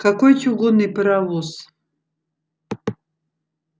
какой чугунный паровоз